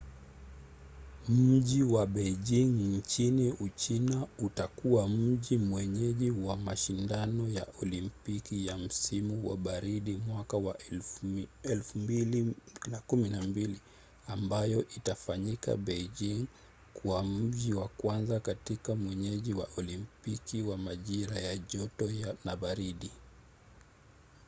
mji wa beijing nchini uchina utakuwa mji mwenyeji wa mashindano ya olimpiki ya msimu wa baridi mwaka wa 2022 ambayo itaifanya beijing kuwa mji wa kwanza kuwa mwenyeji wa olimpiki ya majira ya joto na baridi